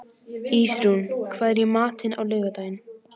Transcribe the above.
Ísrún, hvað er í matinn á laugardaginn?